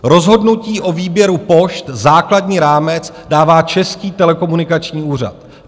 Rozhodnutí o výběru pošt základní rámec dává Český telekomunikační úřad.